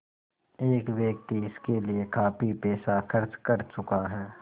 एक व्यक्ति इसके लिए काफ़ी पैसा खर्च कर चुका है